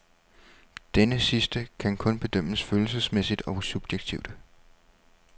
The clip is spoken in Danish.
Denne sidste kan kun bedømmes følelsesmæssigt og subjektivt.